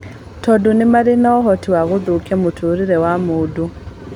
Tondũ nĩmaarĩ na ũhoti wa gũthũkia mũtũũrĩre wa mũndũ